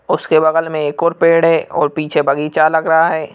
उसके बगल में एक और पेड़ है और पीछे बगीचा लग रहा है।